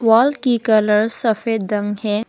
Wall की colour सफेद रंग है।